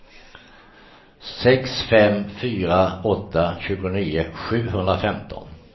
sex fem fyra åtta tjugonio sjuhundrafemton